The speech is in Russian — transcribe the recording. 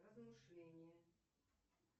размышление